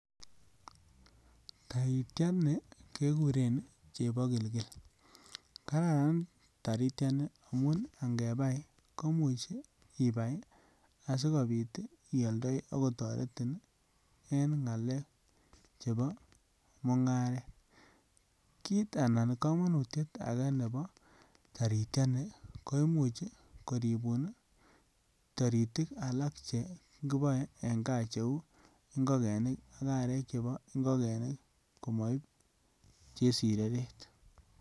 Taritiani keguren chebogilgil, kararan taritiani amun angebai koimuch ibai asikopit ioldoi ako toretin en ngalek chebo mungaret kit anan komonutiet agee nebo taritiani ko imuch koribun ii toritik alak che kiboe en gaa che uu ngogenik ak arek chebo ngogenik omo iib chesireret.